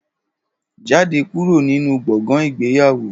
Jáde kúrò nínú gbọ̀ngàn ìgbéyàwó